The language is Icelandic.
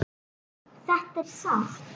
Þetta er sárt.